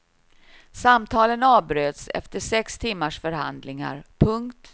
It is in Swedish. Samtalen avbröts efter sex timmars förhandlingar. punkt